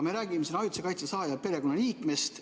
Me räägime ajutise kaitse saaja perekonnaliikmest.